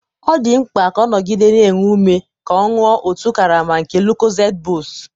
ọ dị mkpa ka ọ nọgide na-enwe ume ka ọ ṅụọ otu karama nke Lucozade boost